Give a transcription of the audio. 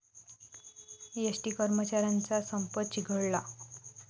ST कर्मचाऱ्यांचा संप चिघळला